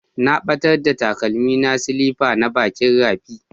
Na ɓatar da takalmin silifa na bakin rafi.